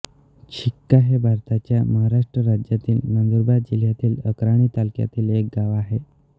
शिक्का हे भारताच्या महाराष्ट्र राज्यातील नंदुरबार जिल्ह्यातील अक्राणी तालुक्यातील एक गाव आहे